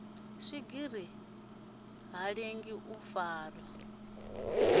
swigiri ha lengi u farwa